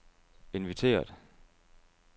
inviteret